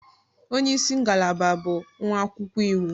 Onye isi ngalaba bụ nwa akwụkwọ iwu.